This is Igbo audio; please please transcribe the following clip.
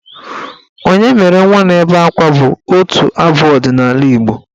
"Onye mere nwa na-ebe akwa" bụ otu abụ ọdịnaala Igbo.